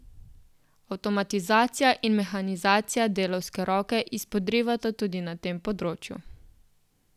Avtomatizacija in mehanizacija delavske roke izpodrivata tudi na tem področju.